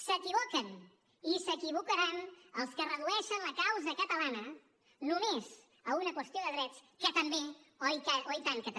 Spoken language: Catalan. s’equivoquen i s’equivocaran els que redueixen la causa catalana només a una qüestió de drets que també oh i tant que també